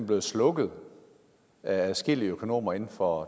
blevet slukket af adskillige økonomer inden for